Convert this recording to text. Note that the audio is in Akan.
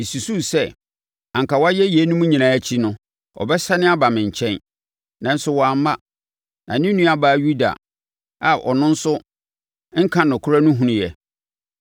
Mesusuu sɛ, anka wayɛ yeinom nyinaa akyi no, ɔbɛsane aba me nkyɛn, nanso wamma, na ne nuabaa Yuda a ɔno nso nka nokorɛ no hunuiɛ.